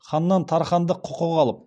ханнан тархандық құқық алып